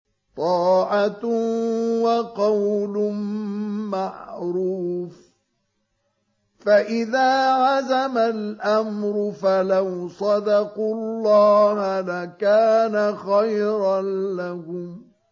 طَاعَةٌ وَقَوْلٌ مَّعْرُوفٌ ۚ فَإِذَا عَزَمَ الْأَمْرُ فَلَوْ صَدَقُوا اللَّهَ لَكَانَ خَيْرًا لَّهُمْ